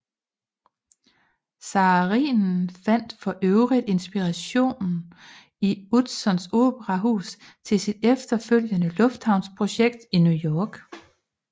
Saarinen fandt for øvrigt inspiration i Utzons operahus til sit efterfølgende lufthavnsprojekt i New York